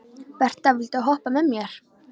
Berta, viltu hoppa með mér?